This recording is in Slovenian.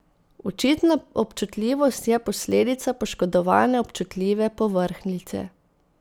Očitna občutljivost je posledica poškodovane občutljive povrhnjice.